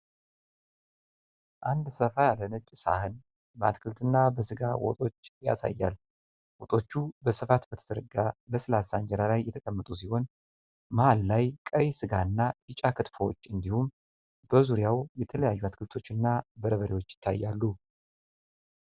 አንድ ሰፋ ያለ ነጭ ሳህን በአትክልትና በስጋ ወጦች ያሳያል። ወጦቹ በስፋት በተዘረጋ ለስላሳ እንጀራ ላይ የተቀመጡ ሲሆን፤ መሃል ላይ ቀይ ሥጋና ቢጫ ክትፎዎች እንዲሁም በዙሪያው የተለያዩ አትክልቶች እና በርበሬዎች ይታያሉ።